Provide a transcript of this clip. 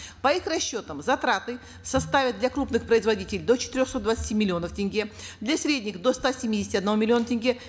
по их расчетам затраты составят для крупных производителей до четырехсот двадцати миллионов тенге для средних до ста семидесяти одного миллиона тенге